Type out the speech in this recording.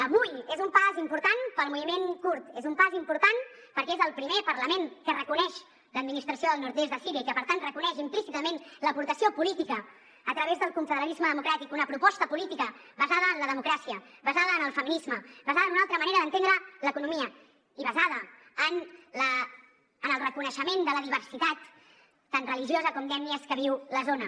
avui és un pas important per al moviment kurd és un pas important perquè és el primer parlament que reconeix l’administració del nord est de síria i que per tant reconeix implícitament l’aportació política a través del confederalisme democràtic una proposta política basada en la democràcia basada en el feminisme basada en una altra manera d’entendre l’economia i basada en el reconeixement de la diversitat tant religiosa com d’ètnies que viu la zona